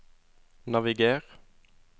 naviger